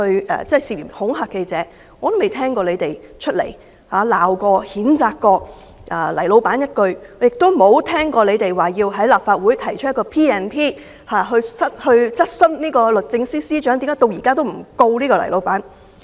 "但我未曾聽過你們責罵、譴責過"黎老闆"一句，亦沒有聽過你們要在立法會動議根據《立法會條例》來質詢律政司司長為何到現在仍不控告"黎老闆"。